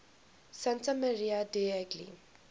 santa maria degli